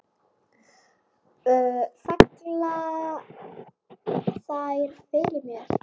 Falla þær fyrir mér?